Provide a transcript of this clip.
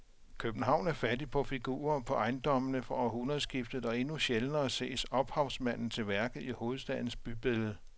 København er fattig på figurer på ejendommene fra århundredskiftet og endnu sjældnere ses ophavsmanden til værket i hovedstadens bybillede.